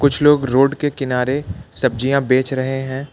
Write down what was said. कुछ लोग रोड के किनारे सब्जियां बेच रहे हैं।